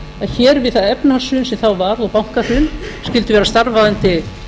að hér við það efnahagshrun sem þá varð og bankahrun skyldi vera starfandi